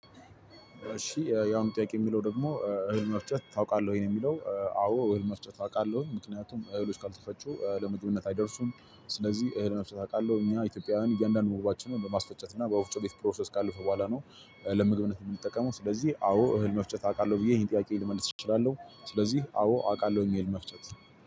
እሽ የአሁኑ ጥያቄ የሚለው ደሞ እህል መፍጨት ታውቃለህ ወይ? አዎ እህል መፍጨት አውቃለሁ። ምክንያቱም እህሎች ካልተፈጩ ለምግብነት አይደርሱም። ስለዚህ እህል መፍጨት አውቃለሁ። እኛ ኢትዮጵያውያን እያንዳንዱ ምግባችን በማስፈጨት ና በወፍጮ ቤት ፕሮሰስ ካለፈ በሁአላ- ለምግብነት የምንጠቀመው ስለዚህ አዎ እህል መፍጨት አውቃለሁ ብዬ ይሄን ጥያቄ ልመልስ እችላለሁ ስለዚህ አዎ አውቃለሁ አህል መፍጨት